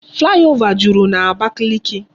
Flyover jụrụ n'Abakiliki